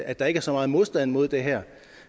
at der ikke er så meget modstand mod det her